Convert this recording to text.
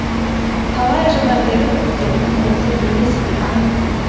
талай жылдан бері күткеніміз осы емес пе а